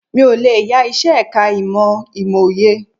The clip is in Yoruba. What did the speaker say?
Mi ò lè yá iṣẹ́ ẹ̀ka ìmọ̀ Ìmòye